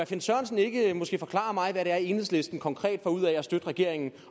finn sørensen ikke forklare mig hvad det er enhedslisten konkret får ud af at støtte regeringen